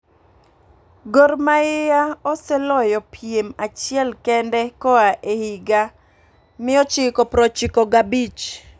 Gor mahia oseloyo piem achiel kende ka oa e higa 1995